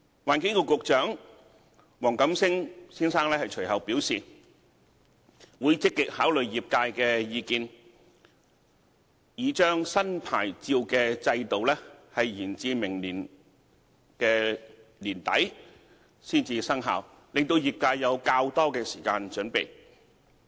環境局局長黃錦星先生隨後表示會積極考慮業界的意見，擬將新牌照制度延至明年年底才生效，令業界有較多時間準備。